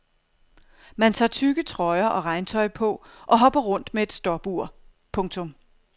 Man tager tykke trøjer og regntøj på og hopper rundt med et stopur. punktum